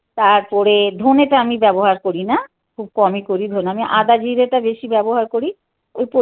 তারপরে ধনেটা আমি ব্যবহার করি না. খুব কমই করি. ধরুন. আমি আদা জিরেটা বেশি ব্যবহার করি